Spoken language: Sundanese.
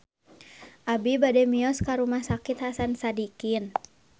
Abi bade mios ka Rumah Sakit Hasan Sadikin